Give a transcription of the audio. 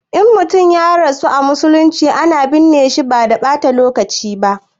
In mutum ya rasu a musulunce, ana binne shi ba da ɓata lokaci ba.